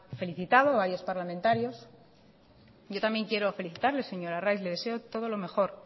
felicitado a varios parlamentarios yo también quiero felicitarle señor arraiz le deseo todo lo mejor